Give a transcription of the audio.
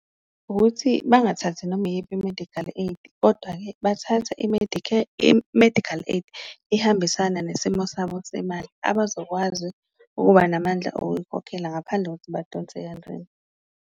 Ukuthi bangathathi noma iyiphi i-medical aid kodwa-ke bathathe i-medical aid ehambisana nesimo sabo semali, abazokwazi ukuba namandla oyikhokhela ngaphandle kokuthi badonse kanzima.